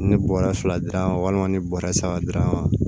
Ne bɔra fila dira walima ni bɔrɛ saba dira ma